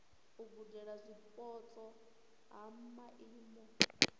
u gudela zwipotso ha maimo